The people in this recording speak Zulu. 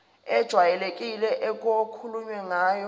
ejwayelekile okukhulunywe ngayo